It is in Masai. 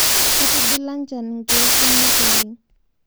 Ketigila njan lkeek kumo oleng